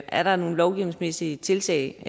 er der nogle lovgivningsmæssige tiltag